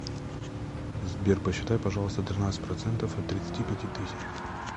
сбер посчитай пожалуйста тринадцать процентов от тридцати пяти тысяч